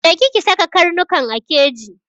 Je ki ki saka karnukan a keji!